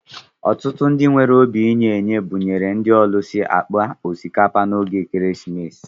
Ọtụtụ ndị nwere obi inye-enye buṅyere ndị ọlusi akpa osikapa na ógè ekeresimesi